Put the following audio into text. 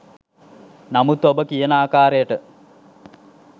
නමුත් ඔබ කියන ආකාරයට